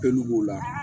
Pelu b'o la